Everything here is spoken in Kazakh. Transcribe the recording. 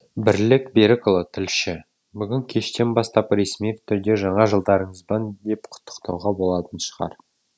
бірлік берікұлы тілші бүгінгі кештен бастап ресми түрде жаңа жылдарыңызбен деп құттықтауға болатын шығар